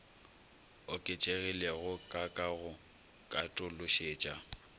oketšegilego ka ka go katološetša